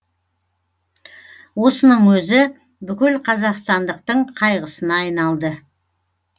осының өзі бүкіл қазақстандықтың қайғысына айналды